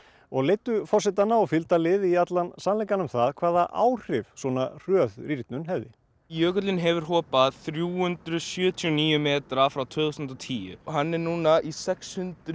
og leiddu forsetana og fylgdarlið í allan sannleikann um það hvaða áhrif svona hröð rýrnun hefði jökullinn hefur hopað þrjú hundruð sjötíu og níu metra frá tvö þúsund og tíu og hann er núna í sex hundruð